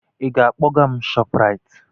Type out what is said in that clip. Ị ga-akpọga m ShopRite?